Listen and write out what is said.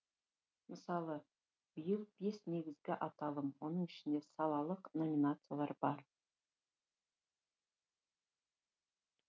мысалы биыл бес негізгі аталым оның ішінде салалық номинациялар бар